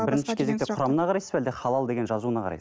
құрамына қарайсыз ба әлде халал деген жазуына қарай